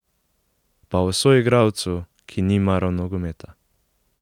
Pa o soigralcu, ki ni maral nogometa.